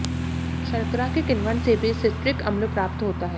शर्करा के किण्वन से भी सिट्रिक अम्ल प्राप्त होता है